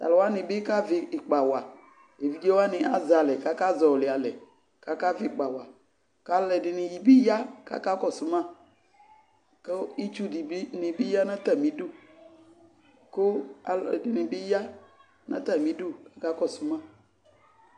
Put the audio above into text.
to alo wani bi kavi ikpa wa evidze wani azɛ alɛ ko aka zɔli alɛ ko aka vi ikpa wa ko alo ɛdini bi ya ko aka kɔso ma ko itsu ni bi ya no atami du ko alo ɛdini bi ya no atami du ka kɔso ma